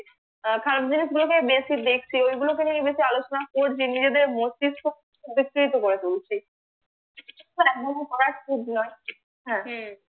খারাপ জিনিস গুলোকেই বেশি দেখছি ঐগুলোকে নিয়েই বেশি আলোচনা করছি নিজেদের মস্তিস্ক করে ফেলছি but এমনও করা ঠিক নয়